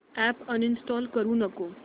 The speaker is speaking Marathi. अॅप अनइंस्टॉल करू नको